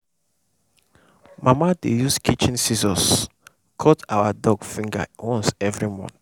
mama dey use kitchen scissors cut our dog finger once every month.